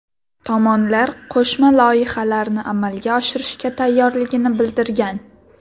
Tomonlar qo‘shma loyihalarni amalga oshirishga tayyorligini bildirgan.